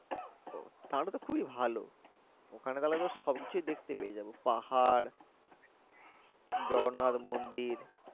তাহলে তো খুবেই ভালো ওখানে তো তাহলে সব কিছুই দেখতে পেয়ে যাবো পাহাড় জগন্নাত মন্দির